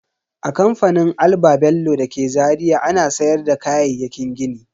A kamfanin Alba-bello dake Zaria ana sayar da kayayyakin gini.